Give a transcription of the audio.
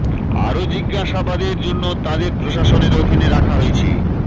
আরো জিজ্ঞাসাবাদের জন্য তাঁদের প্রশাসনের অধীনে রাখা হয়েছে